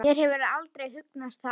Mér hefur aldrei hugnast hann.